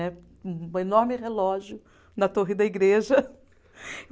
Um enorme relógio na torre da igreja.